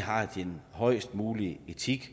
har den højest mulige etik